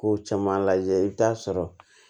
Kow caman lajɛ i bi t'a sɔrɔ